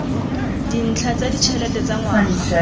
dintlha tsa ditšhelete tsa ngwaga